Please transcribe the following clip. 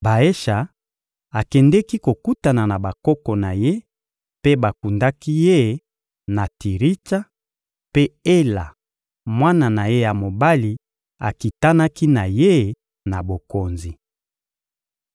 Baesha akendeki kokutana na bakoko na ye, mpe bakundaki ye na Tiritsa; mpe Ela, mwana na ye ya mobali, akitanaki na ye na bokonzi.